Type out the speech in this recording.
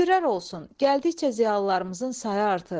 Şükürlər olsun, gəldikcə ziyalılarımızın sayı artır.